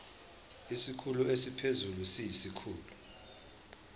isikhulu esiphezulu siyisikhulu